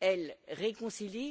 elle, réconcilie.